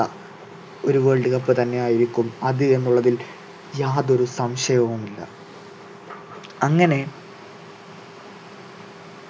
ഒരു world cup തന്നെ ആയിരിക്കും അത് എന്നുള്ളതിൽ യാതൊരു സംശയവുമില്ല അങ്ങനെ